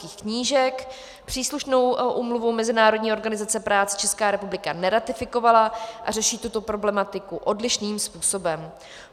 Příslušnou úmluvu Mezinárodní organizace práce Česká republika neratifikovala a řeší tuto problematiku odlišným způsobem.